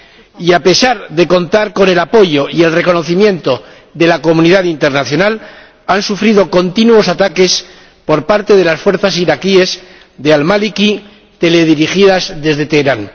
Y a pesar de contar con el apoyo y el reconocimiento de la comunidad internacional, han sufrido continuos ataques por parte de las fuerzas iraquíes de al Maliki teledirigidas desde Teherán.